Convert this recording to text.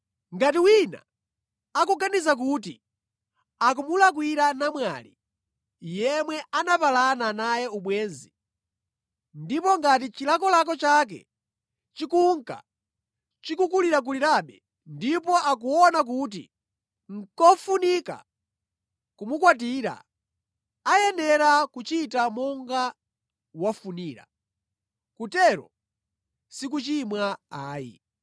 Ngati wina akuganiza kuti akumulakwira namwali yemwe anapalana naye ubwenzi, ndipo ngati chilakolako chake chikunka chikulirakulirabe, ndipo akuona kuti nʼkofunika kumukwatira, ayenera kuchita monga wafunira, kutero si kuchimwa ayi.